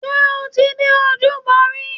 Ṣé o ti dé ojúbọ rí?